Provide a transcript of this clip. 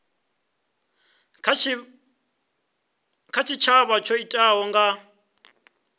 kha tshitshavha tsho itikaho nga